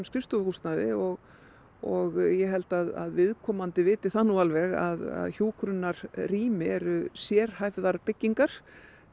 skrifstofuhúsnæði og og ég held að viðkomandi viti það nú alveg að hjúkrunarrými eru sérhæfðar byggingar